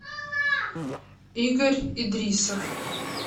игорь идрисов